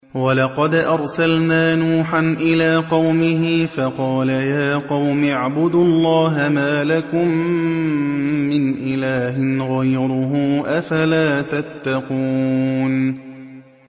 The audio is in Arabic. وَلَقَدْ أَرْسَلْنَا نُوحًا إِلَىٰ قَوْمِهِ فَقَالَ يَا قَوْمِ اعْبُدُوا اللَّهَ مَا لَكُم مِّنْ إِلَٰهٍ غَيْرُهُ ۖ أَفَلَا تَتَّقُونَ